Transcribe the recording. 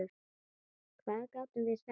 Hvað gátum við sagt?